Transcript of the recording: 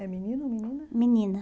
É menino ou menina? Menina